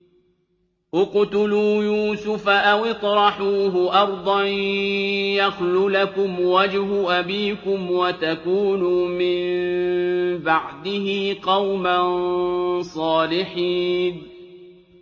اقْتُلُوا يُوسُفَ أَوِ اطْرَحُوهُ أَرْضًا يَخْلُ لَكُمْ وَجْهُ أَبِيكُمْ وَتَكُونُوا مِن بَعْدِهِ قَوْمًا صَالِحِينَ